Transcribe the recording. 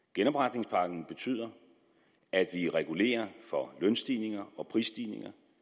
genopretningspakken betyder at vi regulerer for lønstigninger og prisstigninger